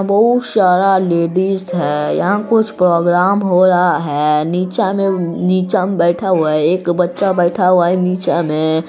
बहुत सारा लेडिज है यहाँ कुछ प्रोग्राम हो रहा है| नीचा में नीचा में बैठा हुआ है| एक बच्चा बैठा हुआ है नीचा में।